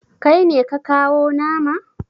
Kai ne ka kawo nama?